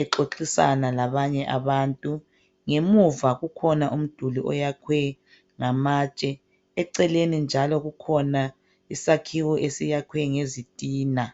exoxisana labanye abantu. Ngemuva kukhona umduli oyakhwe ngamatshe. Eceleni njalo kukhona isakhiwo esakhiwe ngezitina.